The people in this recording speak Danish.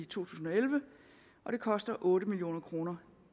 tusind og elleve og det koster otte million kroner